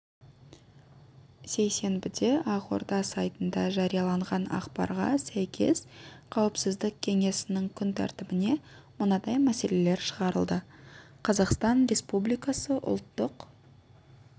сейсенбіде ақорда сайтында жарияланған ақпарға сәйкес қауіпсіздік кеңесінің күн тәртібіне мынадай мәселелер шығарылды қазақстан республикасы ұлттық